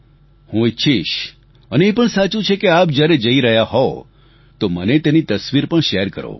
હું ઈચ્છીશ અને એ પણ સાચું છે કે આપ જ્યારે જઈ રહ્યા હોવ તો મને તેની તસવીર પણ શેર કરો